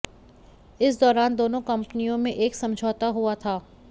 इस दौरान दोनों कंपनियों में एक समझौता हुआ था